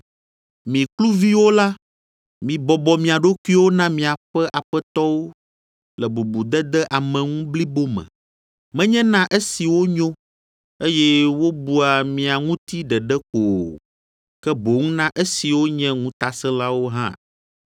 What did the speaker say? Mi kluviwo la, mibɔbɔ mia ɖokuiwo na miaƒe aƒetɔwo le bubudede ame ŋu blibo me, menye na esiwo nyo, eye wobua mia ŋuti ɖeɖe ko o, ke boŋ na esiwo nye ŋutasẽlawo hã.